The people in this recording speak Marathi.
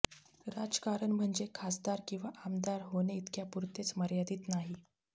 राजकारण म्हणजे खासदार किंवा आमदार होणे इतक्यापुरतेच मर्यादित नाही